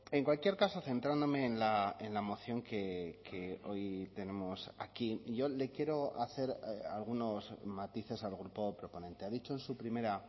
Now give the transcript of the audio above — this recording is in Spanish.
en cualquier caso centrándome en la moción que hoy tenemos aquí yo le quiero hacer algunos matices al grupo proponente ha dicho en su primera